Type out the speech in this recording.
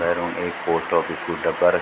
भैरों एक post office क डब्बा --